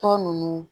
Tɔ ninnu